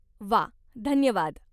व्वा! धन्यवाद.